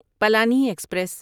Palani express